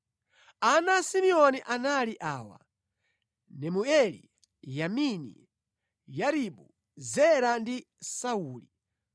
Ana a Simeoni anali awa: Nemueli, Yamini, Yaribu, Zera ndi Sauli;